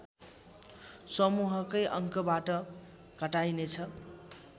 समूहकै अङ्कबाट घटाइनेछ